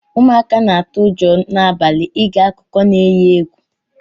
Ụmụaka na atụ ụjọ na abali ige akụkọ na eghi egwu.